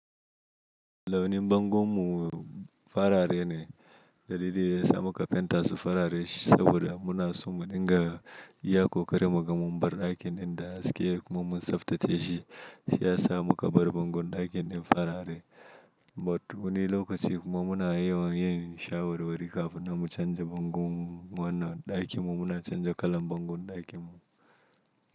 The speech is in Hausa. Launin bangon mu farare ne. Dalili yasa muka fenta su farare saboda muna so mu dinga iya kokari magamun bar ɗakin ɗin da haske kuma mun tsaftace shi. Shi ya sa muka bar bangon ɗakin ɗin farare. But wani lokaci kuma muna yawan yin shawarwari kafin mu canza bangon wannan ɗakin mu muna canza kalan bangon ɗakin mu.